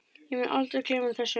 Ég mun aldrei gleyma þessu.